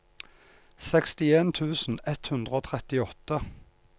sekstien tusen ett hundre og trettiåtte